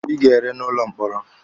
Ị ga-ere n'ụlọ mkpọrọ!